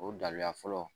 O dalila fɔlɔ